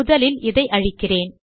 முதலில் இதை அழிக்கிறேன்